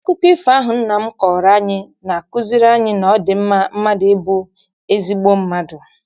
Akụkọ ifo ahụ nna m kọọrọ anyị na-akuziri anyị na ọ dị mma mmadụ ịbụ ezigbo mmadụ.